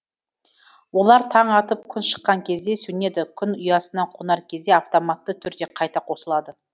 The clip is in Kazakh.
олар таң атып күн шыққан кезде сөнеді күн ұясына қонар кезде автоматты түрде қайта қосылады